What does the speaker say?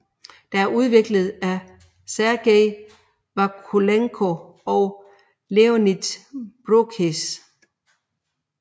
Det er udviklet af Sergey Vakulenko og Leonid Broukhis